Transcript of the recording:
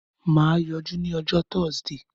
Mà á yọjú ní ọjọ́ Thursday.